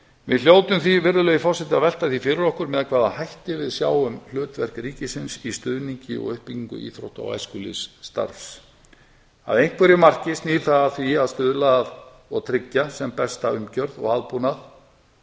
við hljótum því að velta því fyrir okkur með hvaða hætti við sjáum hlutverk ríkisins í stuðningi og uppbyggingu íþrótta og æskulýðsstarfs að einhverju marki snýr það að því að stuðla og tryggja sem besta umgjörð og aðbúnað